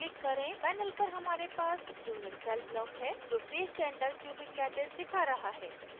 panel पर हमारे पास unit cell block है जो face center cubic lattice दिखा रहा है